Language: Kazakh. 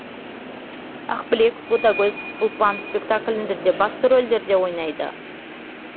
ақбілек ботагөз ұлпан спектакліндерде басты рольдерді ойнады